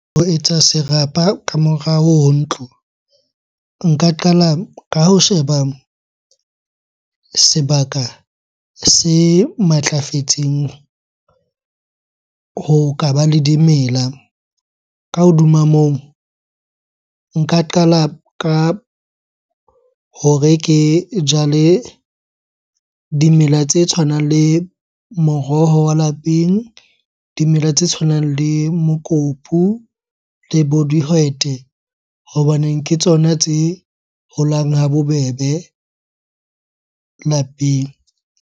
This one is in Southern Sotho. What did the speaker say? Ho etsa serapa ka morao ho ntlo, nka qala ka ho sheba sebaka se matlafetseng ho ka ba le dimela. Ka hodima moo, nka qala ka hore ke jale dimela tse tshwanang le moroho wa lapeng, dimela tse tshwanang le mokopu le bo dihwete. Hobaneng ke tsona tse holang ha bobebe lapeng.